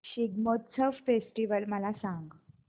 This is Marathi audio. शिग्मोत्सव फेस्टिवल मला सांग